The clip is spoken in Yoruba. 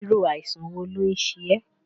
Irú àìsàn wo ló ń ṣe ẹ́?